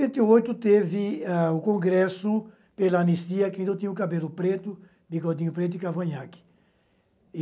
Em setenta e oito, teve o congresso pela anistia, que eu ainda tinha o cabelo preto, bigodinho preto e cavanhaque.